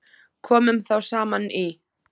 Komu þá saman í